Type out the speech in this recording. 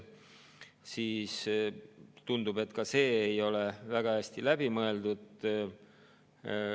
Tundub, et see ei ole ka väga hästi läbi mõeldud.